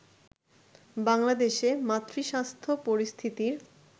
বাংলাদেশে মাতৃস্বাস্থ্য পরিস্থিতির